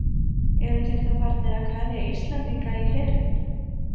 Eru þeir þá farnir að kveðja Íslendinga í herinn?